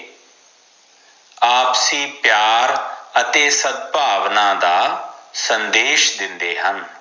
ਆਪਸੀ ਪਿਆਰ ਅਤੇ ਸਦ ਭਾਵਨਾ ਦਾ ਸੰਦੇਸ਼ ਦੇਂਦੇ ਹਨ